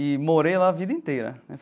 E morei lá a vida inteira.